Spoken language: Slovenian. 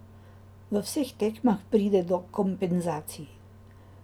V vseh tekmah pride do kompenzacij.